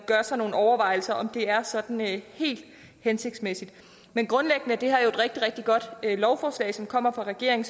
gør os nogle overvejelser om det er sådan helt hensigtsmæssigt men grundlæggende er det her jo et rigtig rigtig godt lovforslag som kommer fra regeringen